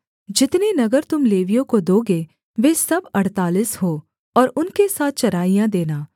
जितने नगर तुम लेवियों को दोगे वे सब अड़तालीस हों और उनके साथ चराइयाँ देना